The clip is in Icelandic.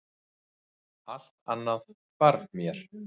Allt annað hvarf mér.